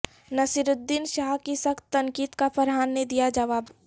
نصیرالدین شاہ کی سخت تنقید کا فرحان نے دیا جواب